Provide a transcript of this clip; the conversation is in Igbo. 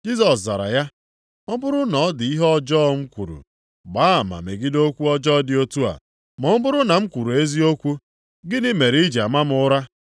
Jisọs zara ya, “Ọ bụrụ na ọ dị ihe ọjọọ m kwuru, gbaa ama megide okwu ọjọọ dị otu a, ma ọ bụrụ na m kwuru eziokwu, gịnị mere i ji ama m ụra.”